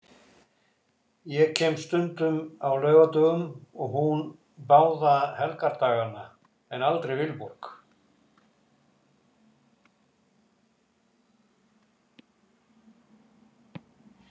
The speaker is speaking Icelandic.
Ég kem stundum á laugardögum og hún báða helgardagana en aldrei Vilborg.